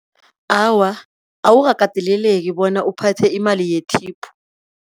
Awa awukakateleleki bona uphathe imali yethipu.